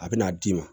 A bɛna d'i ma